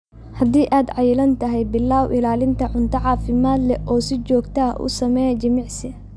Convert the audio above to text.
Haddii aad cayilan tahay, billow ilaalinta cunto caafimaad leh oo si joogto ah u samee jimicsi.